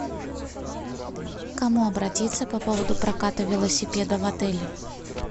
к кому обратиться по поводу проката велосипеда в отеле